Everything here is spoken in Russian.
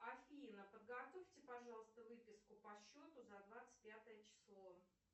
афина подготовьте пожалуйста выписку по счету за двадцать пятое число